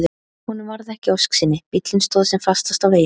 Honum varð ekki að ósk sinni, bíllinn stóð sem fastast á veginum.